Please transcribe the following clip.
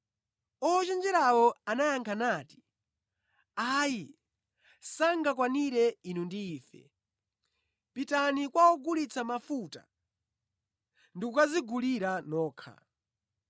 “Ochenjerawo anayankha, nati, ‘Ayi sangakwanire inu ndi ife. Pitani kwa ogulitsa mafuta ndi kukadzigulira nokha.’